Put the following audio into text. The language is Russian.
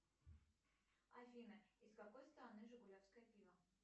афина из какой страны жигулевское пиво